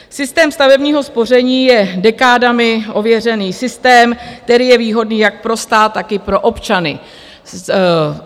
Systém stavebního spoření je dekádami ověřený systém, který je výhodný jak pro stát, tak i pro občany.